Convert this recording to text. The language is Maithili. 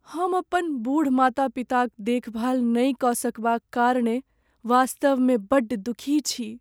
हम अपन बूढ़ माता पिताक देखभाल नहि कऽ सकबाक कारणेँ वास्तवमे बड्ड दुखी छी।